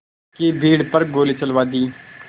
की भीड़ पर गोली चलवा दी